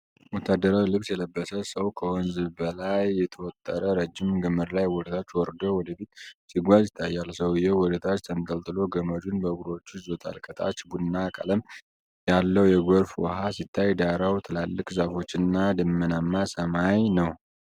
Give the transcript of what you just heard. ወታደራዊ ልብስ የለበሰ ሰው ከወንዝ በላይ በተወጠረ ረጅም ገመድ ላይ ወደ ታች ወርዶ ወደፊት ሲጓዝ ይታያል። ሰውዬው ወደታች ተንጠልጥሎ ገመዱን በእግሮቹ ይዞታል። ከታች ቡናማ ቀለም ያለው የጎርፍ ውሃ ሲታይ፣ ዳራው ትላልቅ ዛፎች እና ደመናማ ሰማይ ነው።